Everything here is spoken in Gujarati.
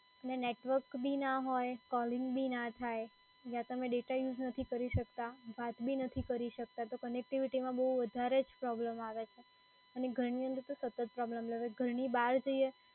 ને નેટવર્ક બી ના હોય, કોલિંગ બી ના થાય, ને તમે ડેટા યુઝ નથી કરી શકતા, વાત બી નથી કરી શકતા તો connectivity માં બઉ વધારે જ પ્રોબ્લેમ આવે છે અને ઘણી વાર સતત પ્રોબ્લેમ રે છે, ઘરની બહાર જઈએ